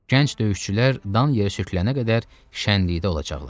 Gənc döyüşçülər dan yer sürtülənə qədər şənlikdə olacaqlar.